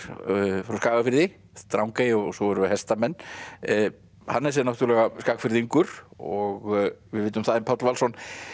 frá Skagafirði Drangey og svo eru hestamenn Hannes er náttúrulega Skagfirðingur og við vitum það en Páll Valsson